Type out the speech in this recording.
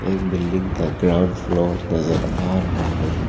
एक बिल्डिंग का ground floor नजर आ रहा है।